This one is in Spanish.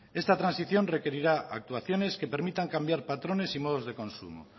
esta transición requerirá actuaciones que permitan cambiar patrones y modos de consumo